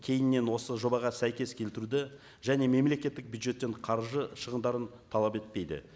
кейіннен осы жобаға сәйкес келтіруді және мемлекеттік бюджеттен қаржы шығындарын талап етпейді